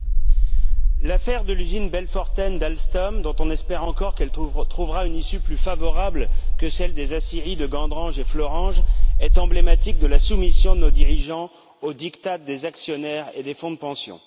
Madame la Présidente, l'affaire de l'usine Belfortaine d'Alstom, dont on espère encore qu'elle trouvera une issue plus favorable que celle des aciéries de Gandrange et Florange, est emblématique de la soumission de nos dirigeants aux diktats des actionnaires et des fonds de pensions.